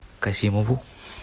касимову